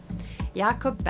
Jakob